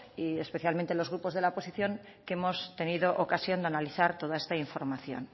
especialmente los grupos de la oposición que hemos tenido ocasión de analizar toda esta información